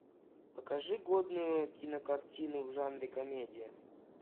покажи годную кинокартину в жанре комедия